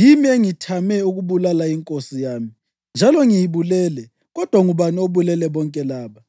Yimi engithame ukubulala inkosi yami njalo ngiyibulele, kodwa ngubani obulele bonke laba?